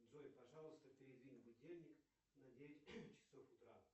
джой пожалуйста передвинь будильник на девять часов утра